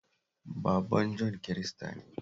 Baban Jon Kirista ne